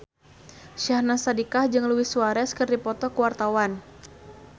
Syahnaz Sadiqah jeung Luis Suarez keur dipoto ku wartawan